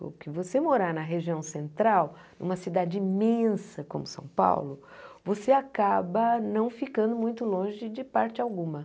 Porque você morar na região central, numa cidade imensa como São Paulo, você acaba não ficando muito longe de parte alguma.